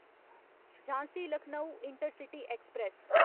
Jhansi Lucknow intercity express